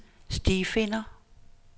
stifinder